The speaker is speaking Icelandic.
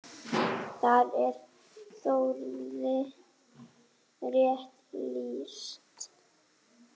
Þar er Þórði rétt lýst.